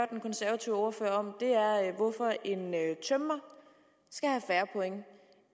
den konservative ordfører om er hvorfor en tømrer skal have færre point